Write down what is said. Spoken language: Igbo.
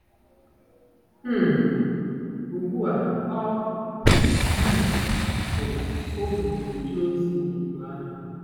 um Ugbu a ọ um bụ ohu na-eje ozi n'ìgwè ahụ.